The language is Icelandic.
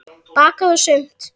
Bakað og smurt.